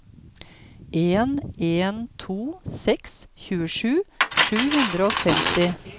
en en to seks tjuesju sju hundre og femti